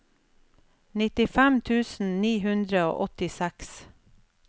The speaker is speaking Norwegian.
nittifem tusen ni hundre og åttiseks